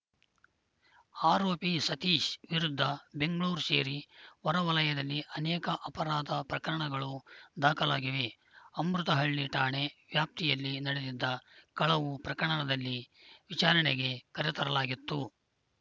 ಆರೋಪಿ ಸತೀಶ ವಿರುದ್ಧ ಬೆಂಗಳೂರು ಸೇರಿ ಹೊರ ವಲಯದಲ್ಲಿ ಅನೇಕ ಅಪರಾಧ ಪ್ರಕರಣಗಳು ದಾಖಲಾಗಿವೆ ಅಮೃತಹಳ್ಳಿ ಠಾಣೆ ವ್ಯಾಪ್ತಿಯಲ್ಲಿ ನಡೆದಿದ್ದ ಕಳವು ಪ್ರಕರಣದಲ್ಲಿ ವಿಚಾರಣೆಗೆ ಕರೆತರಲಾಗಿತ್ತು